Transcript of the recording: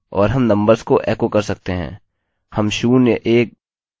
हम शून्य एक दो तीन चार इस्तेमाल कर सकते हैं और यह होगा